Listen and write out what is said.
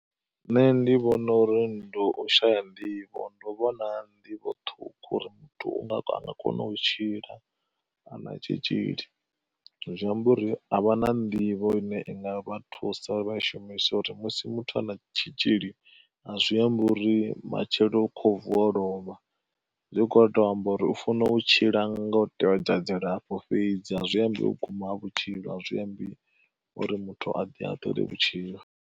Nṋe ndi vhona uri ndi u shaya nḓivho, ndo vhona nḓivho ṱhukhu uri muthu anga kona u tshila ana tshitzhili. Zwi amba uri a vha na nḓivho ine vha thusa shumisa uri musi muthu a na tshitzhili a zwi ambi uri matshelo kho vuwa o lovha, zwi kho to amba uri u funa u tshila nga u tevhedza dzilafho fhedzi a zwi ambi u guma ha vhutshilo a zwi ambi uri muthu a ḓihaṱule vhutshilo.